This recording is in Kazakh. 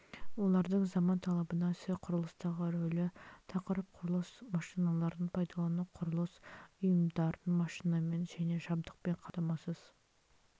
олардың заман талабына сай құрылыстағы рөлі тақырып құрылыс машиналарын пайдалану құрылыс ұйымдарын машинамен және жабдықпен қамтамасыз